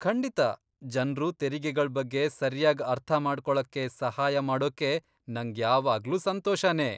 ಖಂಡಿತಾ, ಜನ್ರು ತೆರಿಗೆಗಳ್ ಬಗ್ಗೆ ಸರ್ಯಾಗ್ ಅರ್ಥಮಾಡ್ಕೊಳಕ್ಕೆ ಸಹಾಯ ಮಾಡೋಕೆ ನಂಗ್ ಯಾವಾಗ್ಲೂ ಸಂತೋಷನೇ.